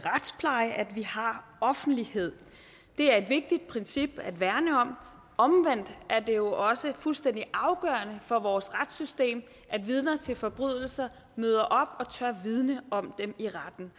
offentlighed det er et vigtigt princip at værne om omvendt er det jo også fuldstændig afgørende for vores retssystem at vidner til forbrydelser møder op og tør vidne om dem i retten